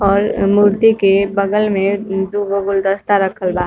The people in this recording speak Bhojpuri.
और मूर्ति के बगल में दुगो गुलदस्ता रखल बा।